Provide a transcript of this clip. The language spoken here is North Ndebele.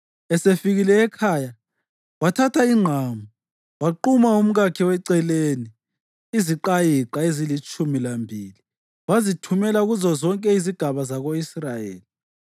Esefikile ekhaya wathatha ingqamu waquma umkakhe weceleni iziqayiqa ezilitshumi lambili wazithumela kuzozonke izigaba zako-Israyeli.